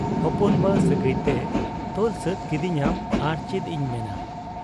ᱦᱚᱯᱚᱱ ᱵᱟ ᱥᱟᱹᱜᱟᱹᱭᱛᱮ ᱛᱚᱞ ᱥᱟᱹᱛ ᱠᱤᱫᱤᱧᱟᱢ ᱟᱨ ᱪᱮᱫ ᱤᱧ ᱢᱮᱱᱟ ᱾